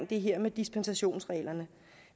det her med dispensationsreglerne